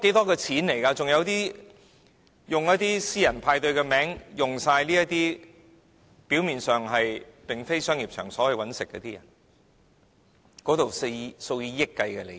還有以私人派對的名義，表面上不是商業場所謀生的人，當中涉及數以億元計的利益。